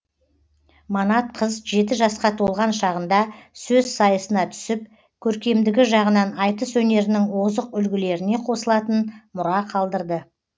манат қыз жеті жасқа толған шағында сөз сайысына түсіп көркемдігі жағынан айтыс өнерінің озық үлгілеріне қосылатын мұра қалдырды